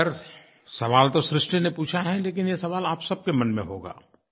खैर सवाल तो सृष्टि ने पूछा है लेकिन ये सवाल आप सबके मन में होगा